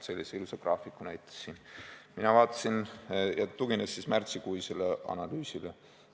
Sellist ilusat graafikut näitas, tugines märtsikuisele analüüsile.